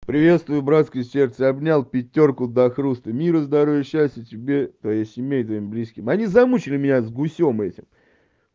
приветствую братское сердце обнял пятёрку до хруста мира здоровья счастья тебе твоей семье и твоим близким они замучили меня с гусём этим